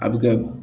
A bɛ kɛ